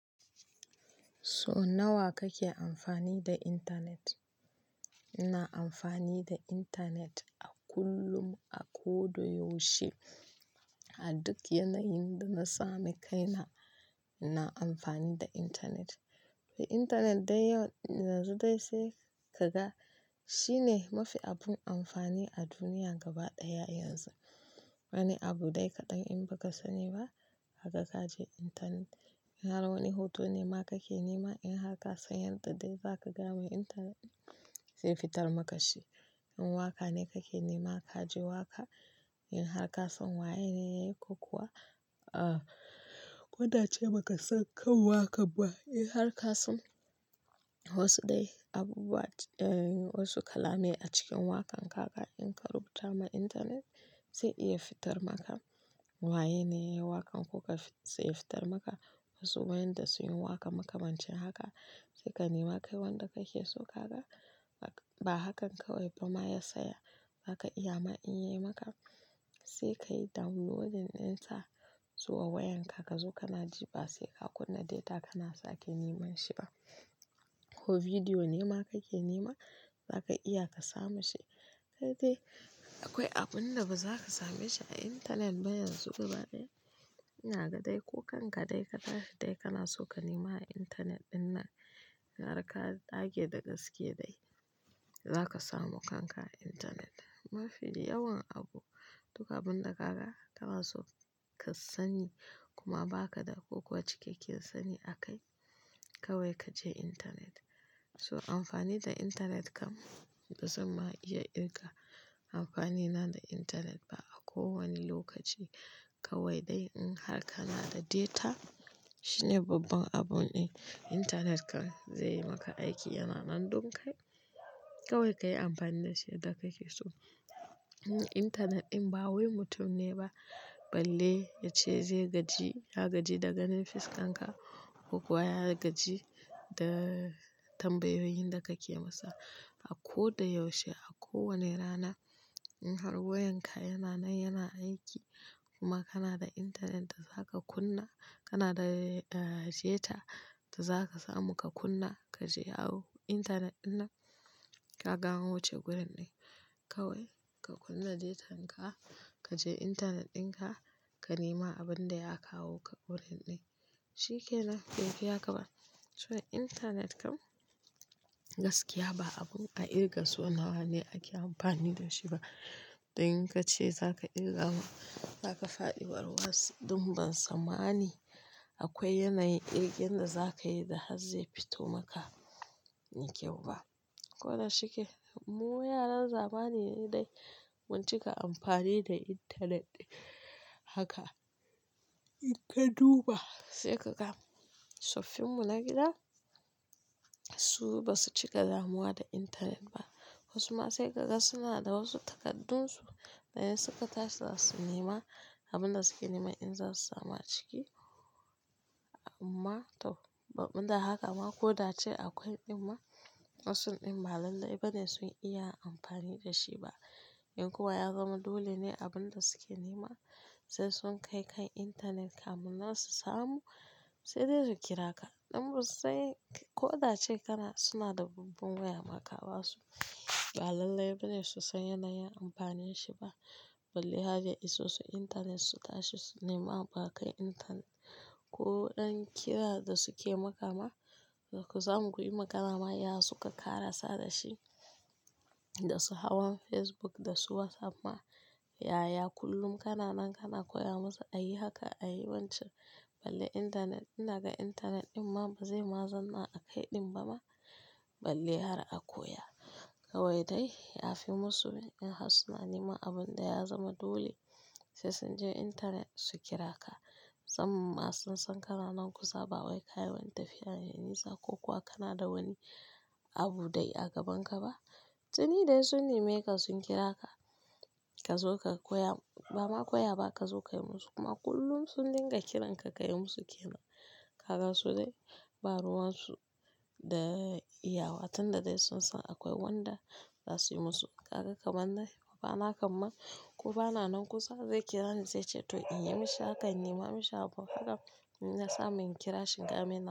So nawa kake amfani da intanet? Ina amfani da intanet a kullum, a ko da yaushe. A duk yanayin da na sami kaina, ina amfani da intanet. Intanet yanzu dai sai ka ga shine mafi abun amfani a duniya gaba ɗaya yanzu. Wani abu dai kaɗan in ba ka sani ba, haka ka je intanet. In har wani hoto ne ma kake nema, in har ka san yadda dai zaka gane intanet zai fitar maka shi. In waka ne kake nema ka ji waka. In har ka san waye ne yake ko kuwa, ah, ko da ba ka san kan waka ba, in har ka san wasu dai abubu wa, wasu kala mai a cikin wakan ka in ka rubuta ma intanet zai iya fitar maka. Waye ne yayi wakan kuka zai fitar maka. Wasu wayanda sun yi waka makamancin haka sai ka nema kai wanda kake so kaga. Ba hakan kawai ba ma ya saya, zaka iya ma in yi maka sai ka yi downloading ɗinsa zuwa wayanka ka zo kana jefa ba sai ka kunna data kana sake neman shi ba. Ko bidiyo ne ma kake nema, zaka iya ka samu shi. Kai dai akwai abun da ba za ka same shi a intanet ba yanzu gaba ɗaya. Ina ga dai ko kan ka dai ka tashi dai kana so ka nema a intanet ɗin nan, in har ka dage da gaske dai za ka samu kan ka a intanet. Mafi yawan abu, duka abun da kaga kana so ka sani kuma ba ka da ko cikekken sani akai, kawai ka je intanet. To amfani da intanet kam bazamma iya kirga amfani na da intanet ba a kowane lokaci kawai dai in har kana da deta shine babban abun ɗin intanet kan zai yi maka aiki yana nan don kai. Kawai ka yi amfani da shi yadda kake so. Intanet ɗin ba wai mutum ne ba balle yace zai gaji. Ya gaji da ganin fuskanka ko kuwa ya gaji da tambayoyin da kake masa. A ko da yaushe a kowane rana in har wayanka yana nan yana aiki kuma kana da intanet da zaka kunna, kana da deta da zaka samu ka kunna ka je awo intanet ɗin nan ka ga wuce gurin ɗin. Kawai ka kunna deta'n ka, ka je intanet ɗin ka, ka nema abin da ya kawo ka wurin ɗin. Shi ke nan bai fi haka ba. So intanet kam gaskiya ba abun a ƙirga so nawa ne ake amfani da shi ba. In kace za ka ƙirga za ka faɗi warwas don bansan mani akwai yanayin ƙirga da za ka yi da har zai fito maka. Mai kyau ba. Ko da shike mu yaran zamani mu dai mun cika amfani da intanet haka. In ka duba sai ka ga tsoffin mu na gida su ba su cika damuwa da intanet ba. Wasu ma sai kaga suna da wasu takaddunsu da in suka tashi za su nema abin da suke nema in za su samu a ciki. Amma to, ban da haka ma ko da a akwai ɗin ma wasun ɗin ba lallai ba ne sun iya amfani da shi ba. In kuwa ya zama dole ne abin da suke nema sai sun kai kan intanet kamu nan su samu sai dai su kira ka. Don wasu sai ko da ce kana suna da babban waya maka ba su, ba lallai ba ne su san yanayin amfanin shi ba. Balle har ya iso su intanet su tashi su nema ba kai intanet ko ɗan kira da suke makama. Da ku samu ku yi magana ma yaya suka ƙara sada shi da su hawan Facebook da su WhatsApp ma. Yaya kullum kana nan kana koya musu a yi haka, a yi wancan balle intanet ɗin inaga intanet ɗin ma ba zai ma zanna a kai ɗin ba ma balle har a koya. Kawai dai ya fi musu in har suna nema abun da ya zama dole sai sun je intanet su kira ka. Musamma ma sun san kana nan kusa ba wai ka yi wani tafiya mai nisa ko kuwa kana da wani abu dai a gabanka ba. Tuni dai sun nema ka sun kira ka. Ka zo ka koya ba ma koya ba ka zo ka yi musu kuma kullum sun dinga kiran ka ka yi musu ke nan. Kaka su dai ba ruwan su da iyawa tun da dai sun san akwai wanda za su yi musu. Kaga kamar nan ba ana kam ko ba na nan kusa zai kira ni zai ce to in yi mishi haka nima mishi abun haka inna sa mun kira shi in gaya mai.